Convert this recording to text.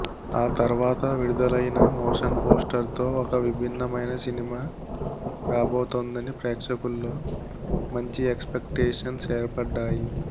ఆ తర్వాత విడుదలైన మోషన్ పోస్టర్తో ఒక విభిన్నమైన సినిమా రాబోతోందని ప్రేక్షకుల్లో మంచి ఎక్స్పెక్టేషన్స్ ఏర్పడ్డాయి